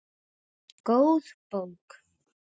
Góð bók.